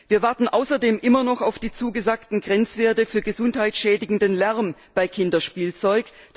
Wir warten außerdem immer noch auf die zugesagten Grenzwerte für gesundheitsschädigenden Lärm bei Kinderspielzeug.